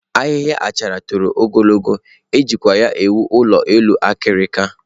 Ahịhịa achara toro ogologo, e jikwa ya ewu elu ụlọ akirika.